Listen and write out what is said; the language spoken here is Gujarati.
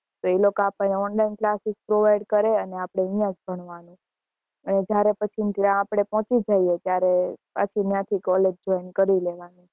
એ લોકા આપને online classes provide કરે અને આપડે અહિયાં જ ભણવાનું એટલે જયારે પછી ત્યાં આપડે પોચી જઈએ ત્યારે ત્યાં થી college join કરી લેવાની